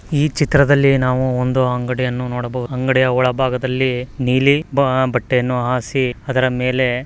ಈ ಚಿತ್ರದಲ್ಲಿ ನಾವು ಒಂದು ಅಂಗಡಿ ಅನ್ನು ನೋಡಬಹುದು ಅಂಗಡಿಯ ಒಳ ಭಾಗದಲ್ಲಿ ನೀಲಿ ಬಣ್ಣ ಬಟ್ಟೆಯನ್ನು ಹಾಸಿ ಅದರ ಮೇಲೆ --